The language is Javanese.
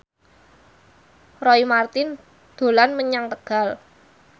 Roy Marten dolan menyang Tegal